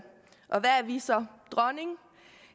og hvad er vi så dronning